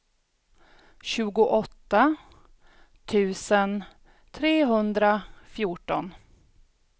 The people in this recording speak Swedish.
tjugoåtta tusen trehundrafjorton